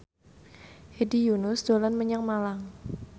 Hedi Yunus dolan menyang Malang